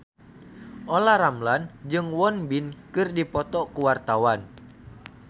Olla Ramlan jeung Won Bin keur dipoto ku wartawan